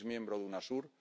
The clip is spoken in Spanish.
es miembro de Unasur